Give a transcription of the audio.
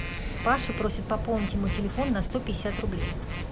паша просит пополнить ему телефон на сто пятьдесят рублей